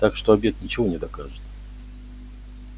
так что обед ничего не докажет